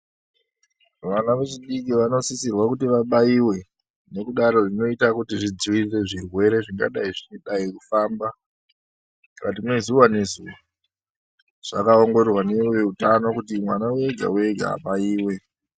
Vana vechidiki vanosisirwa kuti vabaiwe nekudaro zvinoita kuti zvidzivirirwe zvirwere zvingadai zveidai kufamba zuva nezuva zvakaongororwa neveutano kuti mwana wega wega abaiwe.